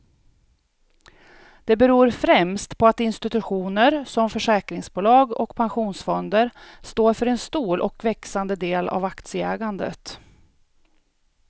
Det beror främst på att institutioner som försäkringsbolag och pensionsfonder står för en stor och växande del av aktieägandet.